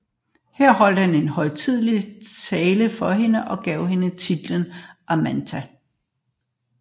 Her holdt han en højtidelig tale for hende og gav hende titlen Amata